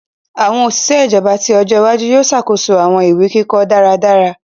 Awọn oṣiṣẹ ijọba ti ọjọ iwaju yoo ṣakoso awọn iwe-kikọ daradara.